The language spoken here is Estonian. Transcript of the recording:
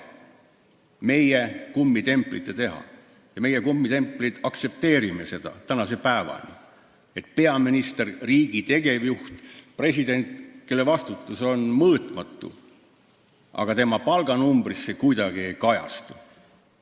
See on meie, kummitemplite teha ja meie, kummitemplid, aktsepteerime seda tänase päevani, et peaministri, riigi tegevjuhi, presidendi, kelle vastutus on mõõtmatu, palganumbris see vastutus kuidagi ei kajastu.